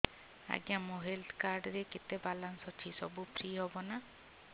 ଆଜ୍ଞା ମୋ health card ରେ କେତେ ବାଲାନ୍ସ ଅଛି ସବୁ ଫ୍ରି ହବ ନାଁ